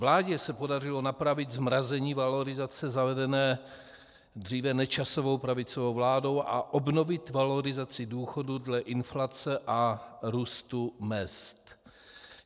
Vládě se podařilo napravit zmrazení valorizace zavedené dříve Nečasovou pravicovou vládou a obnovit valorizaci důchodů dle inflace a růstu mezd.